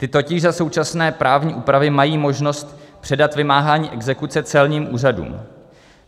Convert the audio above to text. Ty totiž za současné právní úpravy mají možnost předat vymáhání exekuce celním úřadům.